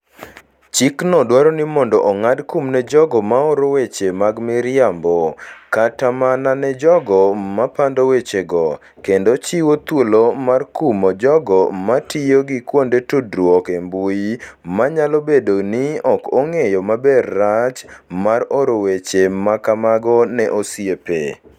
Chikno dwaro ni mondo ong'ad kum ne jogo ma oro "weche mag miriambo" kata mana ne jogo ma pando wechego, kendo chiwo thuolo mar kumo jogo ma tiyo gi kuonde tudruok e mbui manyalo bedo ni ok ong'eyo maber rach mar oro weche ma kamago ne osiepe.